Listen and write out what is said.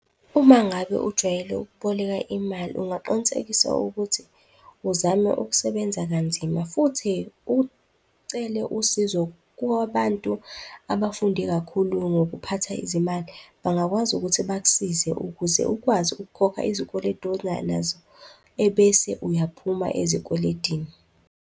Uma ngabe ujwayele ukuboleka imali, ungaqinisekisa ukuthi uzame ukusebenza kanzima, futhi ucele usizo kwabantu abafunde kakhulu ngokuphatha izimali, bangakwazi ukuthi bakusize ukuze ukwazi ukukhokha izikweletu onazo ebese uyaphuma ezikweletini.